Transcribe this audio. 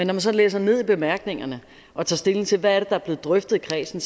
man så læser ned i bemærkningerne og tager stilling til hvad det er er blevet drøftet i kredsen